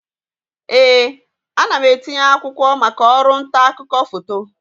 Ee, ana m etinye akwụkwọ maka ọrụ nta akụkọ foto.